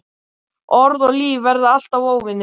Orð og líf verða alltaf óvinir.